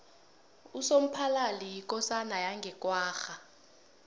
usomphalali yikosana yange kwagga